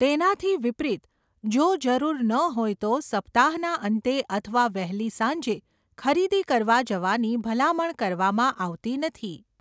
તેનાથી વિપરિત, જો જરૂર ન હોય તો સપ્તાહના અંતે અથવા વહેલી સાંજે ખરીદી કરવા જવાની ભલામણ કરવામાં આવતી નથી.